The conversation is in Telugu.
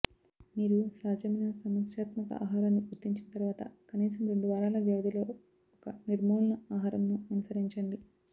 మీరు సాధ్యమైన సమస్యాత్మక ఆహారాన్ని గుర్తించిన తర్వాత కనీసం రెండు వారాల వ్యవధిలో ఒక నిర్మూలన ఆహారంను అనుసరించండి